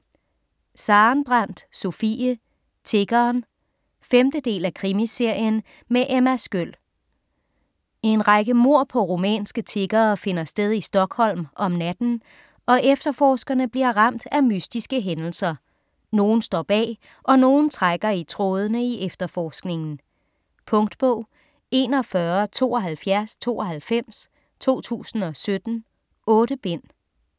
Sarenbrant, Sofie: Tiggeren 5. del af Krimiserien med Emma Sköld. En række mord på rumænske tiggere finder sted i Stockholm om natten, og efterforskerne bliver ramt af mystiske hændelser. Nogen står bag - og nogen trækker i trådende i efterforskningen. Punktbog 417292 2017. 8 bind.